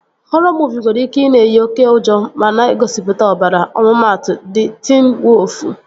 Họrọ muuvi nwere ike ị na-eyi oké ụjọ ma na-egosipụta ọbara. Ọmụmatụ, Di Tiin Woofu